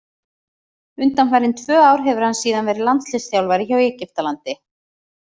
Undanfarin tvö ár hefur hann síðan verið landsliðsþjálfari hjá Egyptalandi.